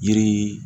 Yiri